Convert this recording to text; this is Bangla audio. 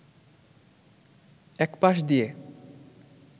এক পাশ দিয়ে